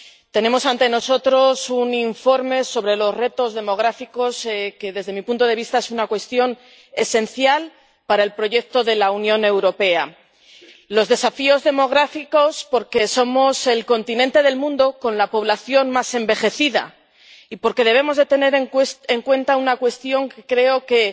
tenemos ante nosotros un informe sobre los retos demográficos que, desde mi punto de vista, son una cuestión esencial para el proyecto de la Unión Europea los desafíos demográficos, porque somos el continente del mundo con la población más envejecida y porque debemos tener en cuenta una cuestión que creo que